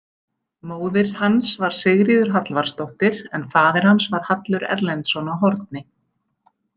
Móðir hans var Sigríður Hallvarðsdóttir en faðir hans var Hallur Erlendsson á Horni.